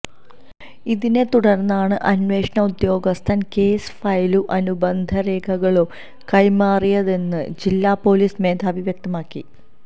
ഇതിനെ തുടർന്നാണ് അന്വേഷണ ഉദ്യോഗസ്ഥൻ കേസ് ഫയലും അനുബന്ധരേഖകളും കൈമാറിയതെന്ന് ജില്ലാപൊലീസ് മേധാവി വ്യക്തമാക്കി